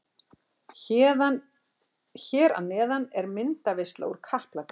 Hér að neðan er myndaveisla úr Kaplakrika.